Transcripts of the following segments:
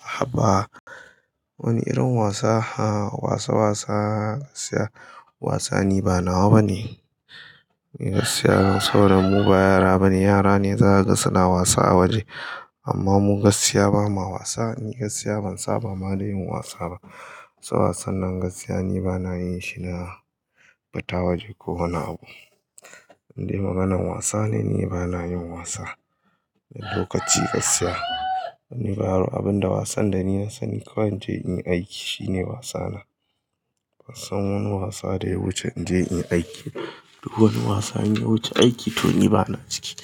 Haba, wani irin wasa, a wasa wasa gaskiya wasa ni ba nawa bane. Ni gaskiya saboda mu ba yara ba ne, yara ne za ka ga suna wasa a waje. Amma mu gaskiya ba ma wasa, ni gaskiya ban saba ma da yin wasa ba. So wasan nan gaskiya ni ba na yin shi na fita waje ko wani abu. Inde maganan wasa ne, ni ba na yin wasa. Lokaci gaskiya ni ba yaro, abin da wasan da ni na sani kawai in je in yi aiki shine wasa na. Ban san wani wasa da ya wuce in je in yi aiki ba. Duk wani wasa in ya wuce aiki to ni ba na ciki.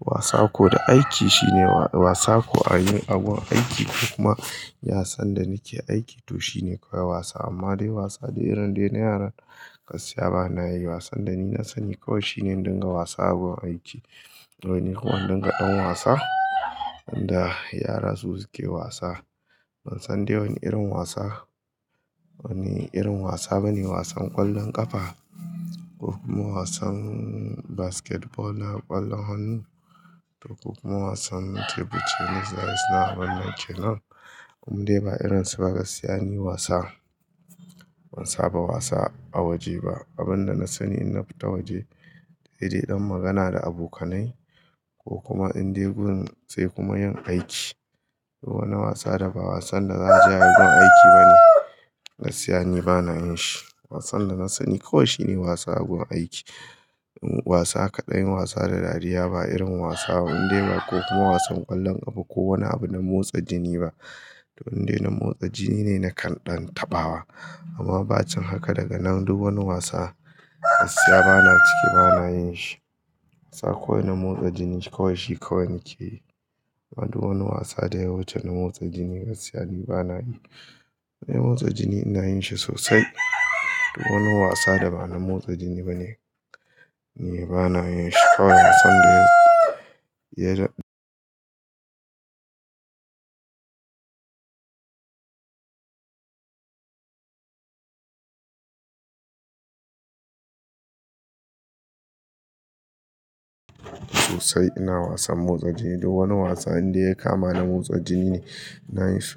Wasa ko da aiki shine wa, wasa ko a yin a gun aiki ko kuma ya san da nike aiki to shine kawai wasa. Amma dai wasa dai irin dai na yara gaskiya bana yi. Wasan da ni na sani kawai shine dinga wasa agun aiki. Wai ni kuma in dinga ɗan wasa, inda yara su suke wasa. Ban san dai wani irin wasa, wani irin wasa ba ne wasan ƙwallon ƙafa ko kuma wasan basketball na ƙwallon hannu, ko kuma wasan tebur tennis da suna wannan kenan. In dai ba irin su ba gaskiya ni wasa. Ban saba wasa a waje ba. Abin da na sani in na fita waje dai dai ɗan magana da abokanai ko kuma in de gun sai kuma yin aiki. Duk wani wasa da ba wasan da za'a je ayi gun aiki ba ne, gaskiya ni ba na yin shi. Wasan da na sani kawai shine wasa agun aiki. Wasa kaɗai wasa da dariya ba irin wasa ba indai ba ko kuma wasan ƙwallon ƙafa ko wani abu na motsa jini ba. To indai na motsa jini ne na kan ɗan tabawa. Amma ba cin haka daga nan duk wani wasa gaskiya bana ciki, bana yin shi. Wasa kawai na motsa jini kawai shi kawai na ke yi. Amma duk wani wasa da ya wuce na motsa jini gaskiya ni ba na yi. Na motsa jini ina yin shi sosai, duk wani wasa da ba na motsa jini bane ni ba na yin shi. Kowane wasan da ya, ya ja-- sosai ina wasan motsa jini. Duk wani wasa indai ya kama na motsa jini ne na yi shi.